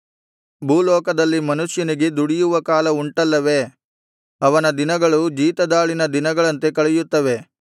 ಭೂಲೋಕದಲ್ಲಿ ಮನುಷ್ಯನಿಗೆ ದುಡಿಯುವ ಕಾಲ ಉಂಟಲ್ಲವೇ ಅವನ ದಿನಗಳು ಜೀತದಾಳಿನ ದಿನಗಳಂತೆ ಕಳೆಯುತ್ತವೆ